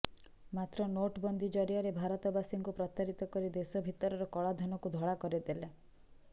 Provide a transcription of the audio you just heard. ମାତ୍ର ନୋଟବନ୍ଦୀ ଜରିଆରେ ଭାରତବାସୀଙ୍କୁ ପ୍ରତାରିତ କରି ଦେଶ ଭିତରର କଳାଧନକୁ ଧଳା କରିଦେଲେ